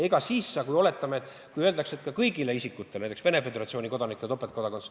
Aga oletame, et öeldakse, et kõigile isikutele, ka näiteks Venemaa Föderatsiooni kodanikele tuleb anda topeltkodakondsus.